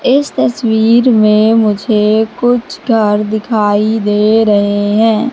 इस तस्वीर में मुझे कुछ घर दिखाई दे रहे हैं।